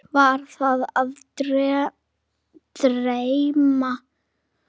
Var þau að dreyma?